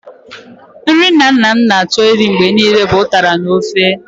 Nri nna nna m na-achọ irí mgbe niile bụ ụtara n'ofe.